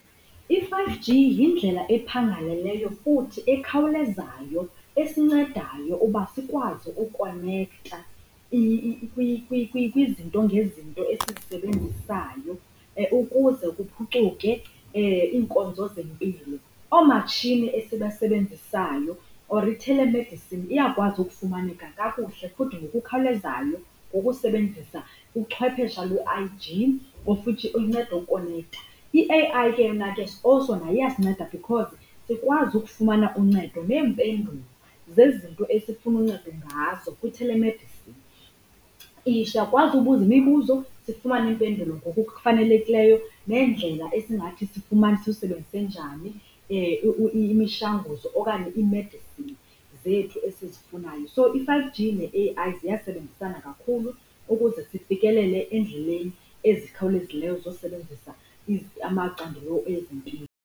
I-five G yindlela ephangaleleyo futhi ekhawulezayo esincedayo uba sikwazi ukonekta kwizinto ngezinto esizisebenzisayo ukuze kuphucuke iinkonzo zempilo. Oomatshini esibasebenzisayo or i-telemedicine iyakwazi ufumaneka kakuhle futhi ngokukhawulezayo ngokusebenzisa uchwephesha lwe-I_G, of which inceda ukonekta. I-A_I ke yona ke also nayo iyasinceda because sikwazi ukufumana uncedo neempendulo zezinto esifuna uncedo ngazo kwi-telemedicine. Siyakwazi ubuza imibuzo sifumane iimpendulo ngokufanelekileyo, neendlela esingathi sifumane, silusebenzise njani imishwanguzo okanye imedisini zethu esizifunayo. So, i-five G ne-A_I ziyasebenzisana kakhulu ukuze sifikelele endleleni ezikhawulezileyo zosebenzisa amacandelo ezempilo.